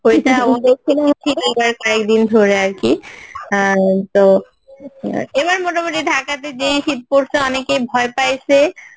ধরে আরকি আহ এম তো এবার মোটামুটি ঢাকা তে যে শীত পরসে অনেকে ভয় পাইসে